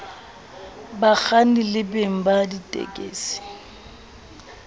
bakganni le beng ba ditekesi